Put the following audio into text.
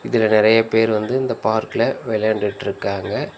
இதுல நெறைய பேர் வந்து இந்த பார்க்ல வெளயாண்டுட்ருக்காங்க.